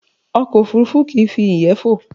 Ọkọ̀ òfurufú kìí fi ìyẹ́ fò